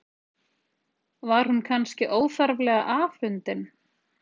Var hún kannski óþarflega afundin?